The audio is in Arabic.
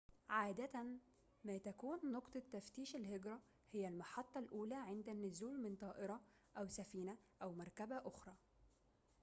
عادة ما تكون نقطة تفتيش الهجرة هي المحطة الأولى عند النزول من طائرة أو سفينة أو مركبة أخرى